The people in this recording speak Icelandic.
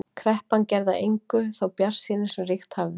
Kreppan gerði að engu þá bjartsýni sem ríkt hafði.